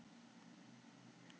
Gönguferð yfir Ísland